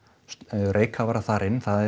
reykkafara þar inn það